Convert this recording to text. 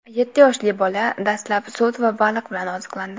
Yetti yoshli bola dastlab sut va baliq bilan oziqlandi.